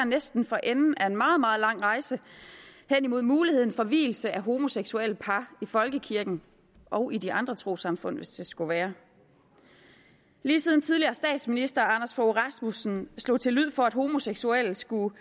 næsten for enden af en meget meget lang rejse hen imod muligheden for vielse af homoseksuelle par i folkekirken og i de andre trossamfund hvis det skulle være lige siden tidligere statsminister anders fogh rasmussen i slog til lyd for at homoseksuelle skulle